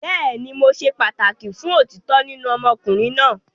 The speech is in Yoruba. Bẹẹni, Mo ṣe pataki fun otitọ ninu ọmọkunrin naa